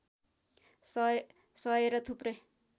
सहे र थुप्रै